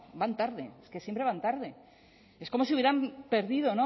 van tarde que siempre van tarde es como si hubieran perdido